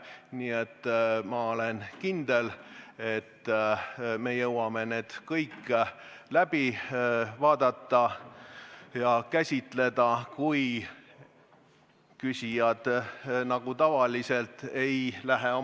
Nii et ma olen kindel, et me jõuame neid kõiki käsitleda, kui küsijad ei lähe oma ajapiirist üle, nagu nad tavaliselt lähevad.